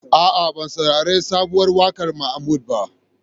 A'a, ban sarari sabuwar waƙar Mahmud ba.